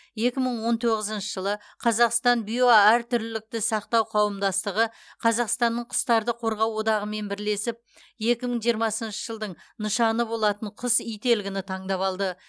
екі мың он тоғызыншы жылы қазақстан биоәртүрлілікті сақтау қауымдастығы қазақстанның құстарды қорғау одағымен бірлесіп екі мың жиырмасыншы жылдың нышаны болатын құс ителгіні таңдап алды